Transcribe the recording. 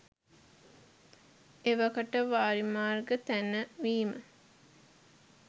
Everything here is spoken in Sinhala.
එවකට වාරිමාර්ග තැනවීම